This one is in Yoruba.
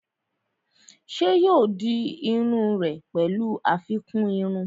Ṣé yóò di iru rẹ̀ pẹ̀lú àfikún irun?